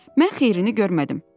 Mən xeyrini görmədim.